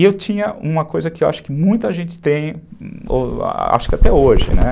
E eu tinha uma coisa que eu acho que muita gente tem, acho que até hoje, né?